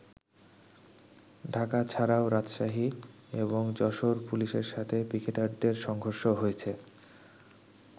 ঢাকা ছাড়াও রাজশাহী এবং যশোর পুলিশের সাথে পিকেটারদের সংঘর্ষ হয়েছে।